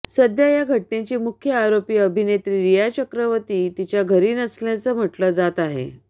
सध्या या घटनेची मुख्य आरोपी अभिनेत्री रिया चक्रवर्ती तिच्या घरी नसल्याचं म्हटलं जात आहे